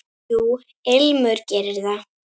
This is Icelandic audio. Jú, Ilmur gerir það.